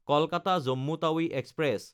Kolkata-Jammu Tawi express